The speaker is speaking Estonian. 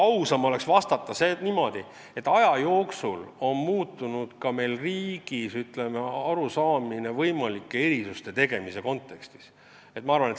Aus oleks vahest vastata niimoodi, et aja jooksul on kogu meie riigis arusaamine võimalike erisuste tegemisest muutunud.